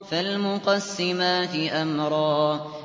فَالْمُقَسِّمَاتِ أَمْرًا